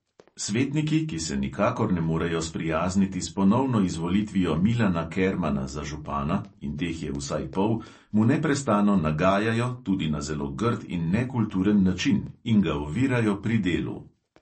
Svetniki, ki se nikakor ne morejo sprijazniti s ponovno izvolitvijo milana kermana za župana, in teh je vsaj pol, mu neprestano nagajajo, tudi na zelo grd in nekulturen način, in ga ovirajo pri delu.